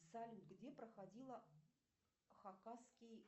салют где проходила хакасский